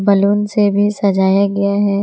Balloon से भी सजाया गया है।